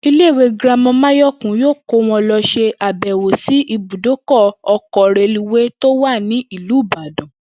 Ilé ìwé girama Máyò̩kún yóò kó wo̩n lo̩ s̩e àbè̩wò sí ibùdókò̩ o̩kò̩ reluwéé tó wà ní ìlú Ìbàdàn